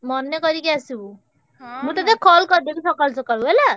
ମନେ କରିକି ଆସିବୁ ମୁଁ ତତେ call କରିଦେବି ସକାଳୁ ସକାଳୁ ହେଲା।